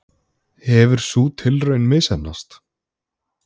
Hefur sú tilraun misheppnast?